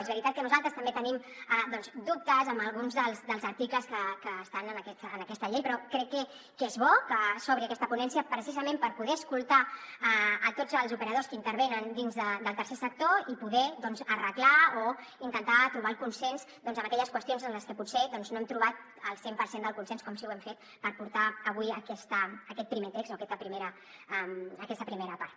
és veritat que nosaltres també tenim doncs dubtes amb alguns dels articles que estan en aquesta llei però crec que és bo que s’obri aquesta ponència precisament per poder escoltar tots els operadors que intervenen dins del tercer sector i poder doncs arreglar o intentar trobar el consens en aquelles qüestions en les que potser no hem trobat el cent per cent del consens com sí que ho hem fet per portar avui aquest primer text o aquesta primera part